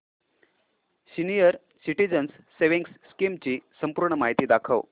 senior citizens savings scheme ची संपूर्ण माहिती दाखव